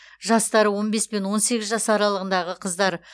жастары он бес пен он сегіз жас аралығындағы қыздар